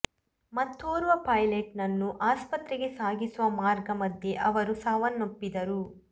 ಮತ್ತೋರ್ವ ಪೈಲಟ್ ನನ್ನು ಆಸ್ಪತ್ರೆಗೆ ಸಾಗಿಸುವ ಮಾರ್ಗ ಮಧ್ಯೆ ಅವರು ಸಾವನ್ನಪ್ಪಿದ್ದರು